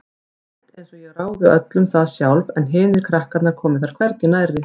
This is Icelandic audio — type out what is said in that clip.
Rétt einsog ég ráði öllu um það sjálf en hinir krakkarnir komi þar hvergi nærri.